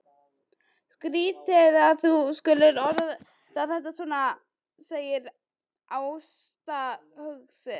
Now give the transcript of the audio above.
Skrýtið að þú skulir orða þetta svona, segir Ásta hugsi.